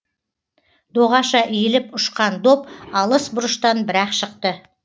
доғаша иіліп ұшқан доп алыс бұрыштан бір ақ шықты